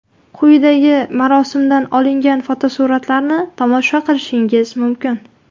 Quyidagi marosimdan olingan fotosuratlarni tomosha qilishingiz mumkin.